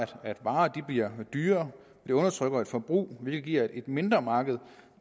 at varen bliver dyrere og det undertrykker forbruget hvilket giver et mindre marked